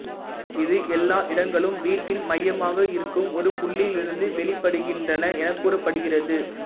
இது எல்லா இடங்களும் வீட்டின் மையமாக இருக்கும் ஒரு புள்ளியிலிருந்து வெளிப்படுகின்றன எனக் கூறப்படுகிறது